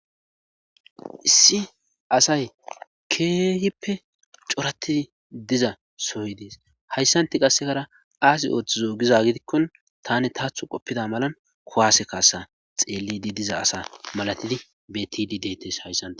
Issi asay keehippe corattidi diza soy Des hayssantti qassikara aazI oothizo giza Mal gidikko taani taatho xeelizay mala kiwwase kaauiddi diya asa milatidi beettidi deettees